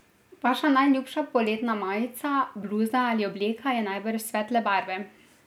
Vaša najljubša poletna majica, bluza ali obleka je najbrž svetle barve.